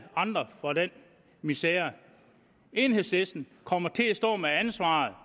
andre for den misere enhedslisten kommer til at stå med ansvaret